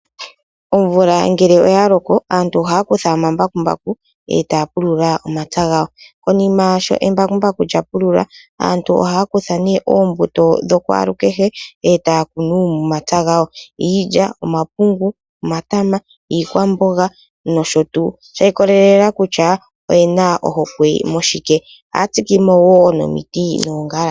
Omvula ngele oya loko aantu ohaya kutha omambakumbaku etaya pulula omapya gawo, konima shoo embakumbaku lya pulula aantu ohaya kutha nee oombuto dhokwaalukehe etaya kunu momomapya gawo , iilya, omapungu omatama niikwamboga noshotuu, shiikololela kutya oyena ohokwe mushike, ohaya tsikemo wo nomiti noongala.